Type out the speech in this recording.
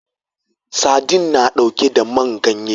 Sadin na ɗauke da man ganye